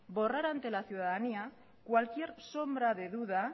borrar ante la ciudadanía cualquier sombra de duda